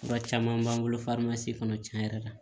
Fura caman b'an bolo kɔnɔ tiɲɛ yɛrɛ la